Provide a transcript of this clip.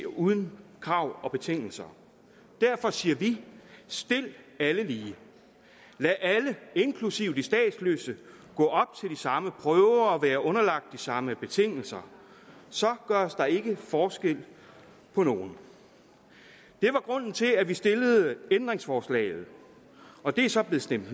uden krav og betingelser derfor siger vi stil alle lige lad alle inklusive de statsløse gå op til de samme prøver og være underlagt de samme betingelser så gøres der ikke forskel på nogen det var grunden til at vi stillede ændringsforslaget og det er så blevet stemt